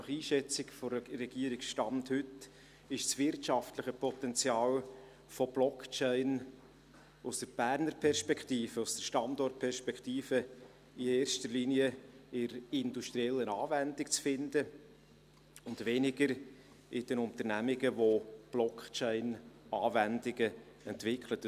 Nach Einschätzung der Regierung, Stand heute, ist das wirtschaftliche Potenzial von Blockchain aus der Berner Perspektive, aus der Standortperspektive, in erster Linie in der industriellen Anwendung zu finden und weniger in den Unternehmungen, die Blockchain-Anwendungen entwickeln.